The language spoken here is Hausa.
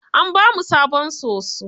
An ba mu sabon soso.